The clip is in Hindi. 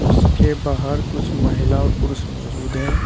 उसके बाहर कुछ महिला और पुरुष मौजूद हैं।